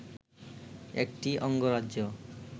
একটি অঙ্গরাজ্য